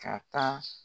Ka taa